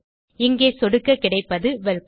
இங்கே சொடுக்க கிடைப்பது வெல்கம்